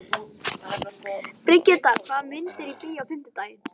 Brigitta, hvaða myndir eru í bíó á fimmtudaginn?